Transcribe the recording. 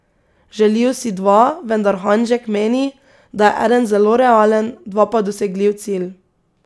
Želijo si dva, vendar Hanžek meni, da je eden zelo realen, dva pa dosegljiv cilj.